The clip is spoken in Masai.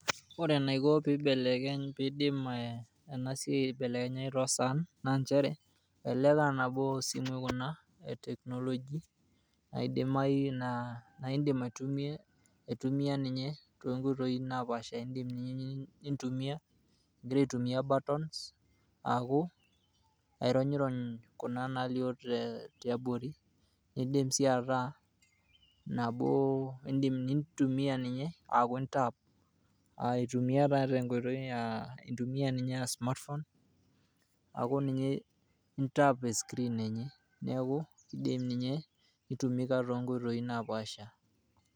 Ore enaiko pibelekeny pidim enasiai aibelekenyayu tosaan, na njere, elelek anabo osimui kuna e technology, aidamayu naa aidim aitumia, aitumia ninye tonkoitoi napaasha. Idim nintumia, igira aitumia buttons ,aaku, ironyirony kuna nalio te tiabori, idim si ataa nabo, idim nintumia ninye, aku intaap, aitumia taa tenkoitoi ah intumia ninye ah smartphone, aku ninye intaap e screen enye. Neeku, idim ninye, nitumika tonkoitoii napaasha.